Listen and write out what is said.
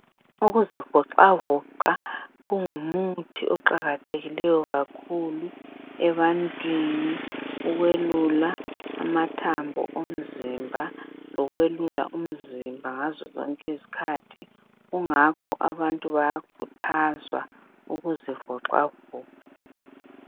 Ukuzivoxavoxa kungumuthi oqakathekileyo kakhulu ebantwini ukwelula amathambo omzimba lokwelula umzimba ngazozonke izikhathi kungakho abantu bayakhuthazwa ukuzivoxavoxa.